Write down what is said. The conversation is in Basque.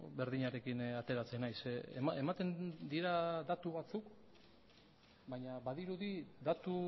berdinarekin ateratzen naiz ematen dira datu batzuk baina badirudi datu